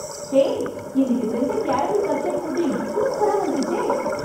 ஹே... இன்னிக்கு செஞ்ச caramel custard pudding சூப்பரா வந்துடுச்சே...